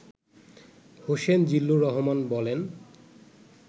হোসেন জিল্লুর রহমান বলেন